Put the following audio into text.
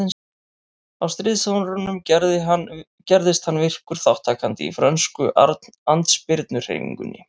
Á stríðsárunum gerðist hann virkur þátttakandi í frönsku andspyrnuhreyfingunni.